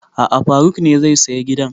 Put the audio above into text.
A'a faruk ne zai saya gidan